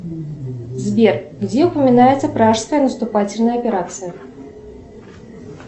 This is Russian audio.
сбер где упоминается пражская наступательная операция